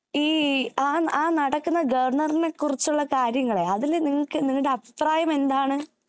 ഈ ആ ആ നടക്കുന്ന ഗവർണറിനെ കുറിച്ചുള്ള കാര്യങ്ങളെ അതില് നിങ്ങൾക്ക് നിങ്ങളുടെ അഭിപ്രായം എന്താണ്